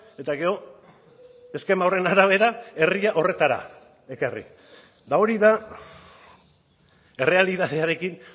eta gero eskema horren arabera herria horretara ekarri eta hori da errealitatearekin